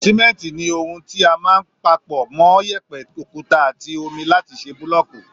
Sìmẹ́ǹtì ni ohun tí a máa ń pa pọ̀ mọ́ yẹ̀pẹ̀, okúta àtti omi laáti ṣe búlọ́ọ̀kù